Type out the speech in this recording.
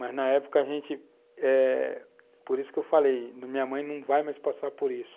Mas, na época, a gente... eh, por isso que eu falei, minha mãe não vai mais passar por isso.